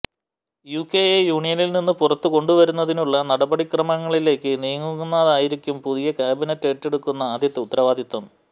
യുകെയെ യൂണിയനിൽ നിന്നും പുറത്തേക്ക് കൊണ്ടു വരുന്നതിനുള്ള നടപടിക്രമങ്ങളിലേക്ക് നീങ്ങുകയെന്നതായിരിക്കും പുതിയ കാബിനറ്റ് ഏറ്റെടുക്കുന്ന ആദ്യത്തെ ഉത്തരവാദിത്വം